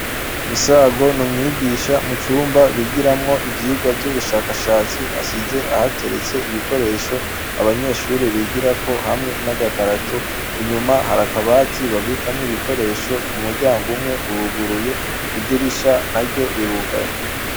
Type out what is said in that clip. Misago n'umwigisha, mu cumba bigiramwo ivyigwa vy'ubushakashatsi ,asize ahateretse ibikoresho abanyeshure bigirako hamwe n'agakarato, inyuma hari akabati babikamwo ibikoresho, umuryango umwe uruguruye, idirisha naryo rirugaye.